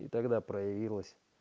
и тогда проявилась